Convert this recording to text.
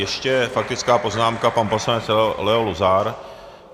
Ještě faktická poznámka, pan poslanec Leo Luzar.